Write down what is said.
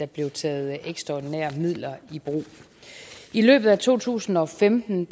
blev taget ekstraordinære midler i brug i løbet af to tusind og femten